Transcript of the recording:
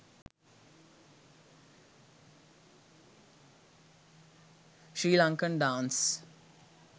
sri lankan dance